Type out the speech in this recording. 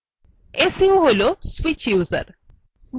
su হল switch user